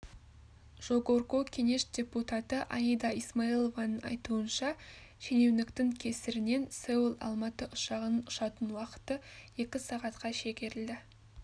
жогорку кенеш депутаты аида исмаилованың айтуынша шенеуніктің кесірінен сеул алматы ұшағының ұшатын уақыты екі сағатқа шегерілді